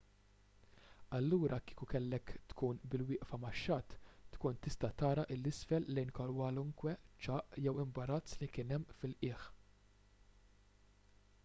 allura kieku kellek tkun bil-wieqfa max-xatt tkun tista' tara l isfel lejn kwalunkwe ċagħaq jew imbarazz li kien hemm fil-qiegħ